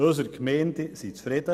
Unsere Gemeinden sind zufrieden.